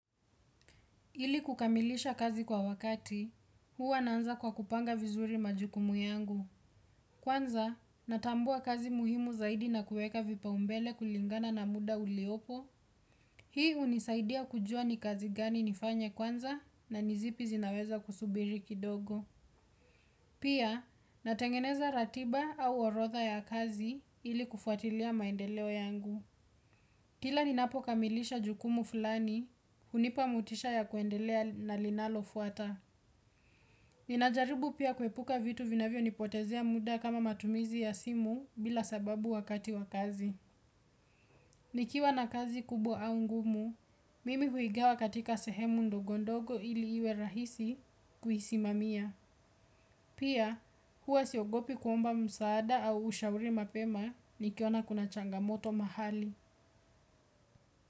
Ili kukamilisha kazi kwa wakati, huwa naanza kwa kupanga vizuri majukumu yangu. Kwanza, natambua kazi muhimu zaidi na kuweka vipaumbele kulingana na muda uliopo. Hii hunisaidia kujua ni kazi gani nifanye kwanza, na ni zipi zinaweza kusubiri kidogo. Pia, natengeneza ratiba au orotha ya kazi ili kufuatilia maendeleo yangu. Kila ninapokamilisha jukumu fulani, hunipa motisha ya kuendelea na linalofuata. Ninajaribu pia kuepuka vitu vinavyonipotezea muda kama matumizi ya simu bila sababu wakati wa kazi. Nikiwa na kazi kubwa au ngumu, mimi huigawa katika sehemu ndogondogo ili iwe rahisi kuisimamia. Pia huwa siogopi kuomba msaada au ushauri mapema nikiona kuna changamoto mahali.